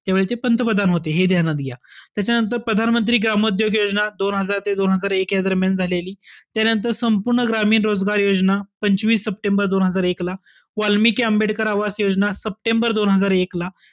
त्यावेळी ते पंतप्रधान होते हे ध्यानात घ्या. त्याच्यानंतर प्रधानमंत्री ग्राम उद्योग योजना दोन हजार ते दोन हजार एक या दरम्यान झालेली. त्यानंतर संपूर्ण ग्रामीण रोजगार योजना पंचवीस सप्टेंबर दोन हजार एक ला. वाल्मिकी आंबेडकर आवास योजना सप्टेंबर दोन हजार एक ला.